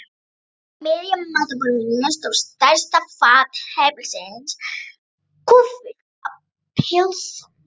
Á miðju matarborðinu stóð stærsta fat heimilisins kúffullt af pylsum.